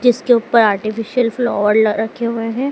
जिसके ऊपर artificial flower रखे हुए हैं।